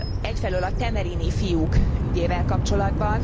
egyfelől a temerini fiúk ügyével kapcsolatban.